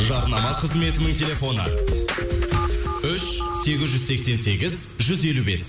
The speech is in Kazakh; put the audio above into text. жарнама қызметінің телефоны үш сегіз жүз сексен сегіз жүз елу бес